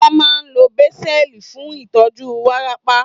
Wọ́n máa ń lo Banzel fún ìtọ́jú wárápá